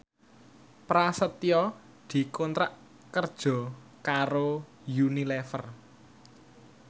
Prasetyo dikontrak kerja karo Unilever